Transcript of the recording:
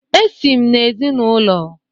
Esi m n'ezinaụlọ